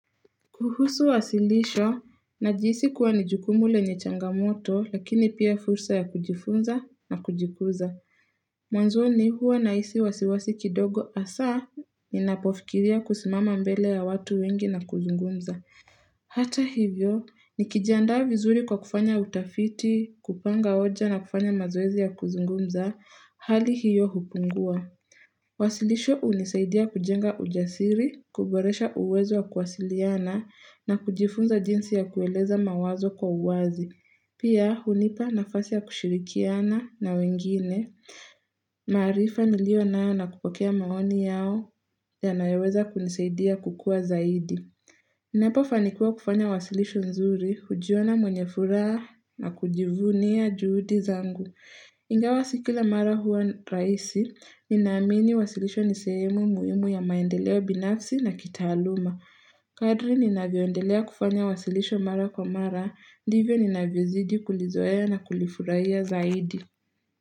Kuhusu wasilisho, nahijisi kuwa ni jukumu lenye changamoto, lakini pia fursa ya kujifunza na kujikuza. Mwanzoni huwa na hisi wasiwasi kidogo hasa, ni napofikiria kusimama mbele ya watu wengi na kuzungumza. Hata hivyo, nikijiandaa vizuri kwa kufanya utafiti, kupanga hoja na kufanya mazoezi ya kuzungumza, hali hiyo hupungua. Wasilisho hunisaidia kujenga ujasiri, kuboresha uwezo ya kuwasiliana na kujifunza jinsi ya kueleza mawazo kwa uwazi Pia hunipa nafasi ya kushirikiana na wengine, maarifa niliona nayo na kupokea maoni yao ya nayaweza kunisaidia kukua zaidi Ninapo fanikuwa kufanya wasilisho nzuri, hujiona mwenyefuhara na kujivunia juhudi zangu Ingawa sikila mara huwa raisi, ninaamini wasilisho nisehemu muhimu ya maendeleo binafsi na kitaaluma. Kadri nina viondelea kufanya wasilisho mara kwa mara, divyo ninavyozidi kulizoeya na kulifurahiya zaidi.